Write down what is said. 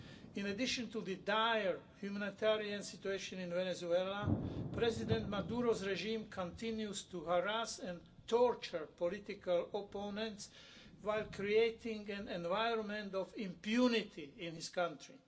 In addition to the dire humanitarian situation in Venezuela, President Maduro's regime continues to harass and torture political opponents whilst creating an environment of impunity in his country.